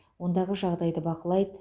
ондағы жағдайды бақылайды